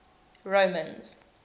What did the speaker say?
romans